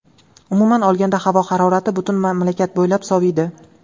Umuman olganda, havo harorati butun mamlakat bo‘ylab soviydi.